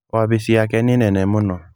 Wabici yake nĩ nene mũno.